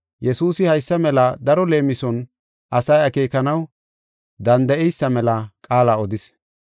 Yesuusi haysa mela daro leemison asay akeekanaw danda7eysa mela qaala odis.